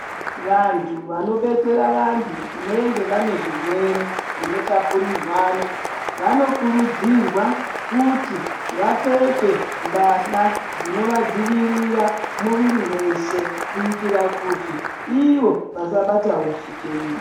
Vantu vanobetsera vantu vanenge vane zvirwere zvinotapurirwana vanokurudzirwa kuti vapfeke mbahla dzinovadzivirira muviri weshe kuitira kuti Ivo vasabatawo chitenda.